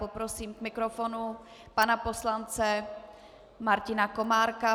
Poprosím k mikrofonu pana poslance Martina Komárka.